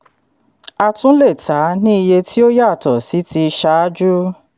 a tún lè ta ní iye tí ó yàtọ̀ sí ti ṣáájú.